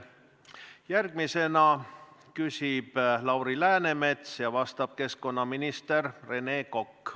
Järgmisena küsib Lauri Läänemets ja vastab keskkonnaminister Rene Kokk.